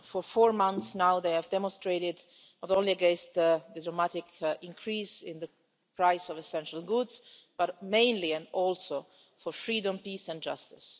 For four months now they have demonstrated, not only against the dramatic increase in the price of essential goods, but mainly and also for freedom, peace and justice.